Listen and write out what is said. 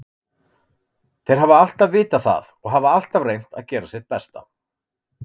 Þeir hafa alltaf vitað það og hafa alltaf reynt að gera sitt besta.